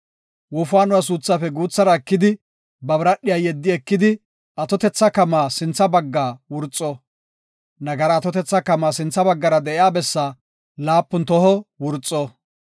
Wofaanuwa suuthaafe guuthara ekidi, ba biradhiya yeddi ekidi atotetha kamaa sintha baggaa wurxo. Nagara atotetha kamaa sintha baggara de7iya bessaa laapun toho wurxo.